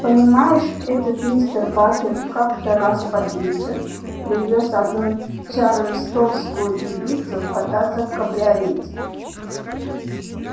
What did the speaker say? понимаешь этот мистер батлер как-то раз под вечер привёз одну чарльстонскую девицу кататься в кабриолете